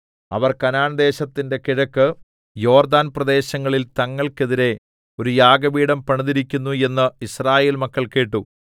അവർ കനാൻദേശത്തിന്റെ കിഴക്ക് യോർദ്ദാൻപ്രദേശങ്ങളിൽ തങ്ങൾക്കെതിരെ ഒരു യാഗപീഠം പണിതിരിക്കുന്നു എന്ന് യിസ്രായേൽ മക്കൾ കേട്ടു